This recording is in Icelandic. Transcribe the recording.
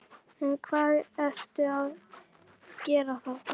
En hvað ertu að gera þarna?